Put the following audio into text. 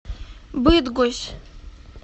быдгощ